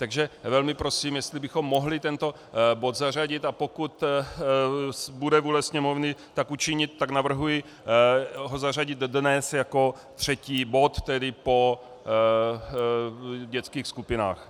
Takže velmi prosím, jestli bychom mohli tento bod zařadit, a pokud bude vůle Sněmovny, tak učinit, tak navrhuji ho zařadit dnes jako třetí bod, tedy po dětských skupinách.